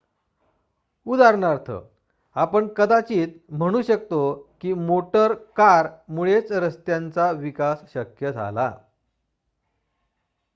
उदाहरणार्थ आपण कदाचित म्हणू शकतो की मोटर कार मुळेच रस्त्यांचा विकास शक्य झाला